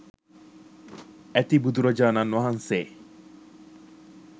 ඇති බුදුරජාණන් වහන්සේ